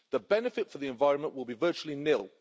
The benefit to the environment will be virtually nil.